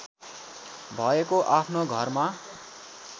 भएको आफ्नो घरमा